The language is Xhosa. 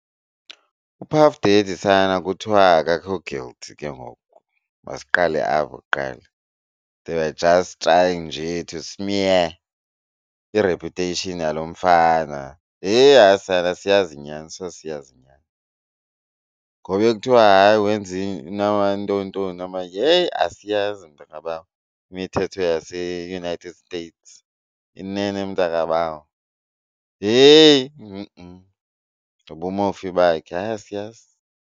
UPuff Daddy sana kuthiwa akekho guilty ke ngoku, masiqale apho kuqala. They were just drying njee to smear i-reputation yalo mfana. Yhe! Hayi sana asiyazi inyani soze siyazi inyani. Ngoku bekuthiwa hayi wenze ntontoni heyi asiyazi mntakabawo imithetho yaseUnited States. Inene mntakabawo heyi! Mobumofi bakhe hayi asiyazi.